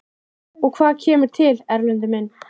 Og hvað kemur til, Erlendur minn?